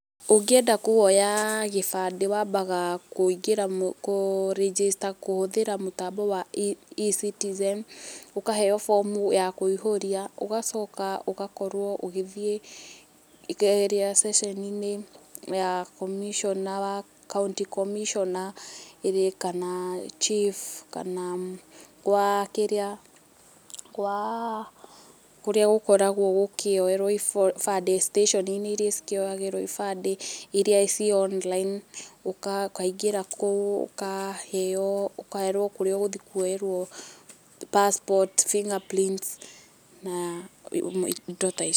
Ũngĩenda kwoya gĩbandĩ wambaga kũingĩra kũ register kũhũthĩra mũtambo wa E-Citizen ũkaheo form u ya kũihũria ũgacoka ũgakorwo ũgĩthiĩ checeni-inĩ ya commissioner wa county commissioner ĩĩ kana chief kana gwa kĩrĩa, gwaa kũrĩa gũkoragwo gũkĩoerwo ibandĩ station iria ikĩoyagĩrwp ibandĩ iria ciĩ online ũkaingĩra kũu ũkaheo, ũkwerwo kũrĩa ũkwerwo passport, fingerprint na indo ta icio